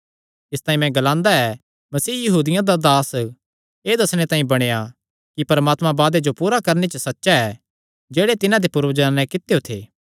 इसतांई मैं ग्लांदा ऐ मसीह यहूदियां दा दास एह़ दस्सणे तांई बणेया कि परमात्मा वादेयां जो पूरा करणे च सच्चा ऐ जेह्ड़े तिन्हां दे पूर्वजां नैं कित्यो थे